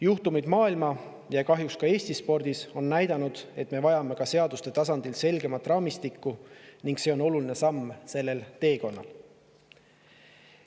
Juhtumid muu maailma ja kahjuks ka Eesti spordis on näidanud, et me vajame ka seaduste tasandil selgemat raamistikku, ning see on oluline samm sellel teekonnal.